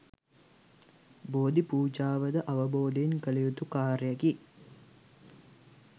බෝධි පූජාව ද අවබෝධයෙන් කළ යුතු කාර්යයකි.